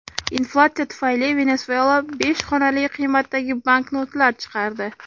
Inflyatsiya tufayli Venesuela besh xonali qiymatdagi banknotlar chiqardi.